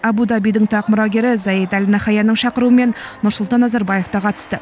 абу дабидің тақ мұрагері заид әл наһаянның шақыруымен нұрсұлтан назарбаев та қатысты